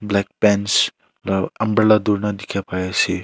black pants loo umbrella durina dikhia pai ase.